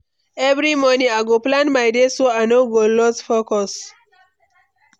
Every morning, I go plan my day so I no go lose focus.